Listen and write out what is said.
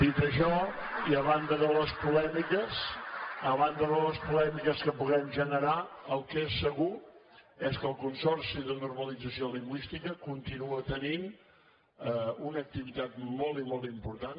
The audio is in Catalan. dit això i a banda de les polèmiques a banda de les polèmiques que puguem generar el que és segur és que el consorci per a la normalització lingüística continua tenint una activitat molt i molt important